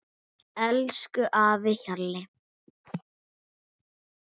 Elsku afi Hjalli.